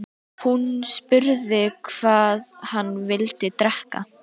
Hún spurði hvað hann vildi drekka.